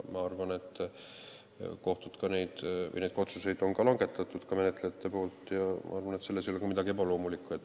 Ma arvan, et neid otsuseid on menetlejad ka langetanud ja selles ei ole midagi ebaloomulikku.